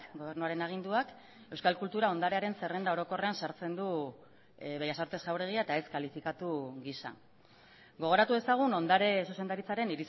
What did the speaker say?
gobernuaren aginduak euskal kultura ondarearen zerrenda orokorrean sartzen du bellas artes jauregia eta ez kalifikatu gisa gogoratu dezagun ondare zuzendaritzaren